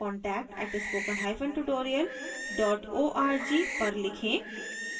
contact@spokentutorialorg पर लिखें